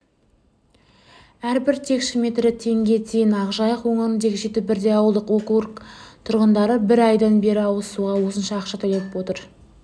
әрбір текше метрі теңге тиын ақ жайық өңіріндегі жеті бірдей ауылдық округ тұрғындары бір айдан бері ауызсуға осынша ақша төлеп отыр